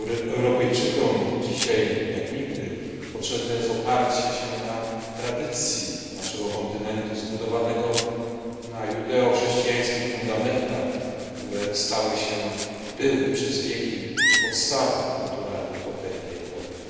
Europejczykom dzisiaj, jak nigdy, potrzebne jest oparcie się na tradycji naszego kontynentu zbudowanego na judeochrześcijańskich fundamentach, które stały się i były przez wieki podstawą kulturalnej potęgi Europy.